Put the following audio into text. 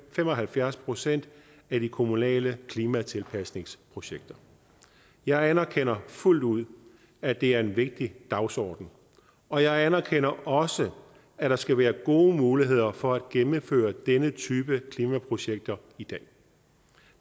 fem og halvfjerds procent af de kommunale klimatilpasningsprojekter jeg anerkender fuldt ud at det er en vigtig dagsorden og jeg anerkender også at der skal være gode muligheder for at gennemføre denne type klimaprojekter i dag